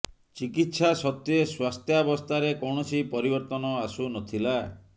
ଚିକିତ୍ସା ସତ୍ତ୍ୱେ ସ୍ୱାସ୍ଥ୍ୟାବସ୍ଥାରେ କୌଣସି ପରିବର୍ତ୍ତନ ଆସୁ ନ ଥିଲା